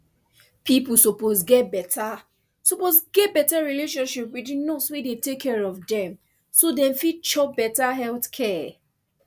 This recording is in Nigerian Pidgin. people suppose get better suppose get better relationship wit di nurse wey dey take care of dem so dem fit chop better health care